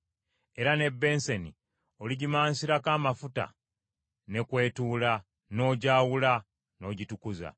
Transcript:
Era n’ebbensani oligimansirako amafuta, ne kw’etuula, n’ogyawula, n’ogitukuza.